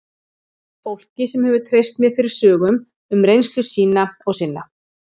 Fólki sem hefur treyst mér fyrir sögum um reynslu sína og sinna.